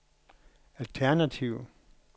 alternativ